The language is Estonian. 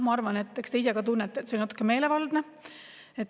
Ma arvan, et eks te ise ka tunnete, et see on natuke meelevaldne.